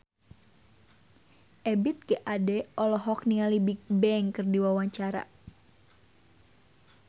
Ebith G. Ade olohok ningali Bigbang keur diwawancara